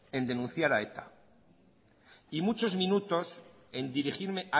en denunciar a eta y muchos minutos en dirigirme